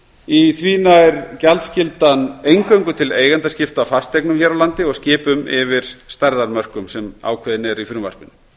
í því nær gjaldskyldan eingöngu til eigendaskipta á fasteignum hér á landi og skipum yfir stærðarmörkum sem ákveðin eru í frumvarpinu